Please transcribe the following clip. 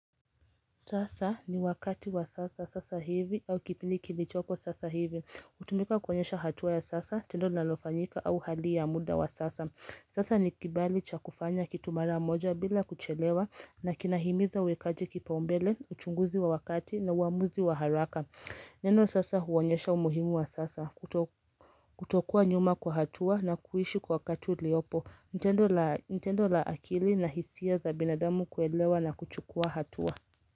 Sasa ni wakati wa sasa sasa hivi au kipili kilichoko sasa hivi hutumika kuonyesha hatua ya sasa tendo linalofanyika au hali ya muda wa sasa Sasa ni kibali cha kufanya kitu mara moja bila kuchelewa na kinahimiza wekaji kipaumbele, uchunguzi wa wakati na uamuzi wa haraka Neno sasa huonyesha umuhimu wa sasa kutokua nyuma kwa hatua na kuishi kwa wakati uliopo ni tendo la ni tendo la akili na hisia za binadamu kuelewa na kuchukua hatua.